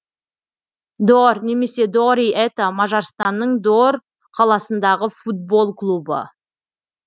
дьор немесе дьори это мажарстанның дьор қаласындағы футбол клубы